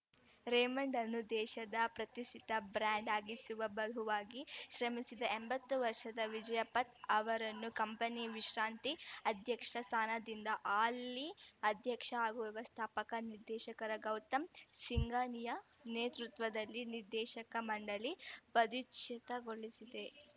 Raymond ಅನ್ನು ದೇಶದ ಪ್ರತಿಷ್ಠಿತ ಬ್ರ್ಯಾಂಡ್‌ ಆಗಿಸುವಲ್ಲಿ ಬಹುವಾಗಿ ಶ್ರಮಿಸಿದ ಎಂಬತ್ತು ವರ್ಷದ ವಿಜಯಪಥ್‌ ಅವರನ್ನು ಕಂಪನಿಯ ವಿಶ್ರಾಂತಿ ಅಧ್ಯಕ್ಷ ಸ್ಥಾನದಿಂದ ಹಾಲಿ ಅಧ್ಯಕ್ಷ ಹಾಗೂ ವ್ಯವಸ್ಥಾಪಕ ನಿರ್ದೇಶಕ ಗೌತಮ್‌ ಸಿಂಘಾನಿಯಾ ನೇತೃತ್ವದಲ್ಲಿ ನಿರ್ದೇಶಕ ಮಂಡಳಿ ಪದಚ್ಯುತಗೊಳಿಸಿದೆ